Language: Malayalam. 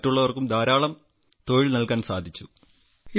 മറ്റുള്ളവർക്കും ധാരാളം തൊഴിൽ നൽകാൻ സാധിച്ചു